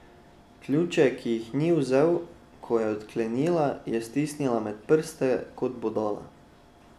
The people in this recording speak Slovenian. Ključe, ki ji jih ni vzel, ko je odklenila, je stisnila med prste kot bodala.